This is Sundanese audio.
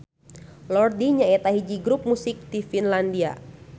Lordi nyaeta hiji grup musik ti Finlandia.